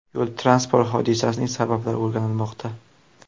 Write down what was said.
Yo‘l-transport hodisasining sabablari o‘rganilmoqda.